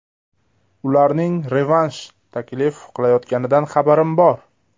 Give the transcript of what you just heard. Ularning revansh taklif qilayotganidan xabarim bor.